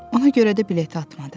Ona görə də bileti atmadı.